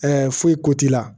foyi ko t'i la